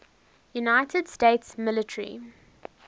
united states military